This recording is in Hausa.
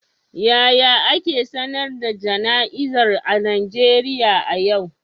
Yaya ake sanar da jana'izar a Najeriya a yau?